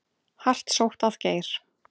Hart sótt að Geir